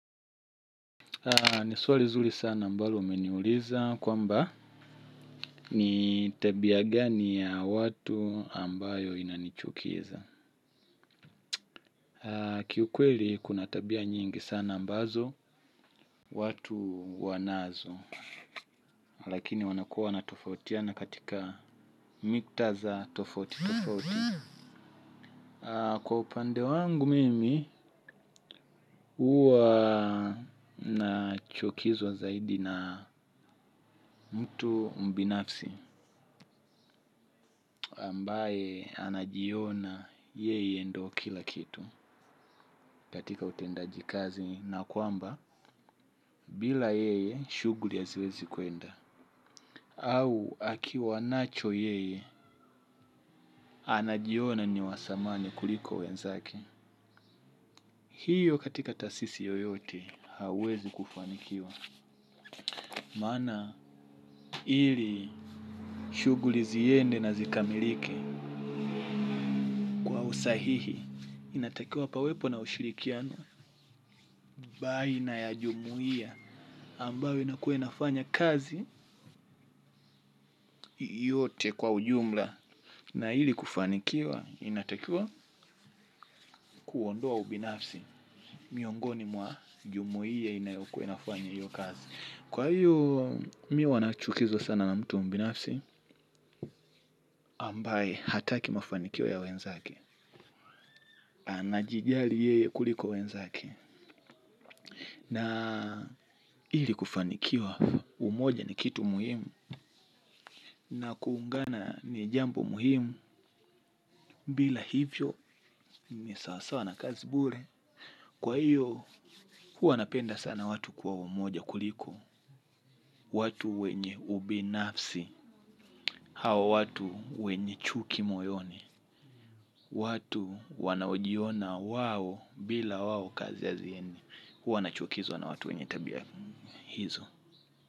Ni swali nzuri sana ambalo umeniuliza kwamba ni tabia gani ya watu ambayo inanichukiza. Kiukweli kuna tabia nyingi sana ambazo watu wanazo. Lakini wanakua natofautiana katika mikutadha tofauti tofauti. Kwa upande wangu mimi huwa nachukizwa zaidi na mtu mbinafsi. Ambaye anajiona yeye ndo kila kitu katika utendaji kazi na kwamba bila yeye shughuli haziwezi kwenda. Au akiwanacho yeye anajiona niwa dhamani kuliko wenzake. Hiyo katika taasisi yoyote hauwezi kufanikiwa. Maana ili shughuli ziende na zikamilike. Usahihi inatakiwa pawepo na ushirikiano. Bali na ya jumuiya ambayo inakuwa inafanya kazi yote kwa ujumla na ili kufanikiwa inatakiwa kuondoa ubinafsi. Miongoni mwa jumuiya inayo kuwa inafanya hity kazi kwa hiyo mimi huwa nanachukizwa sana na mtu mbinafsi ambaye hataki mafanikio ya wenzake ana jijali yeye kuliko wenzake. Na ili kufanikiwa umoja ni kitu muhimu. Na kuungana ni jambo muhimu bila hivyo ni sawasawa na kazi bure. Kwa hiyo huwa napenda sana watu kwa umoja kuliko. Watu wenye ubinafsi hawa watu wenye chuki moyoni. Watu wanaojiona wao bila wao kazi haziendi. Hua nachukizwa na watu wenye tabia hizo.